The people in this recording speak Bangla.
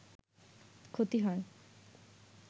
ক্ষতি হয়